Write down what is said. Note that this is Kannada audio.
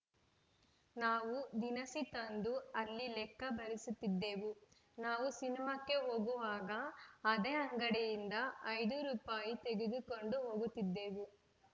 ನಾವು ದಿನಸಿ ತಂದು ಅಲ್ಲಿ ಲೆಕ್ಕ ಬರೆಸುತ್ತಿದ್ದೆವು ನಾವು ಸಿನಿಮಾಕ್ಕೆ ಹೋಗುವಾಗ ಅದೇ ಅಂಗಡಿಯಿಂದ ಐದು ರುಪಾಯಿ ತೆಗೆದುಕೊಂಡು ಹೋಗುತ್ತಿದ್ದೆವು